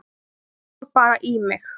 Hann fór bara í mig.